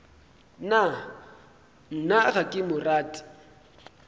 nna ga ke mo rate